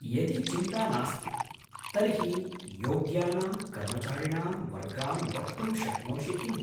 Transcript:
यदि चिन्ता नास्ति तर्हि योग्यानां कर्मचारिणां वर्गान् वक्तुं शक्नोषि किम्?